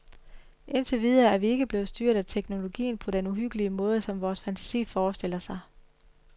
Indtil videre er vi ikke blevet styret af teknologien på den uhyggelige måde, som vores fantasi forestiller sig.